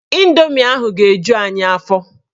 Indomi ahụ ga-eju anyị afọ.